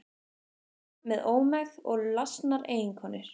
Verkamenn með ómegð og lasnar eiginkonur.